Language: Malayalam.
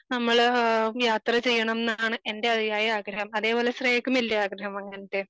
നമ്മള് യാത്ര ചെയ്യണം ന്നാണ് എൻ്റെ അധിയായ ആഗ്രഹം. അതേ പോലെ ശ്രേയക്കുമില്ലേ ആഗ്രഹം അങ്ങനത്തെ